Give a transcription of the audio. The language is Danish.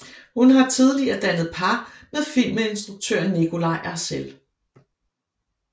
Hun har tidligere dannet par med filminstruktør Nikolaj Arcel